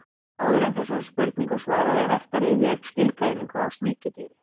Áður en þessari spurningu er svarað er vert að rifja upp skilgreiningu á sníkjudýri.